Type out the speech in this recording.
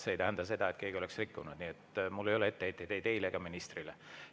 See ei tähenda seda, et keegi oleks rikkunud, nii et mul ei ole etteheiteid ei teile ega ministrile.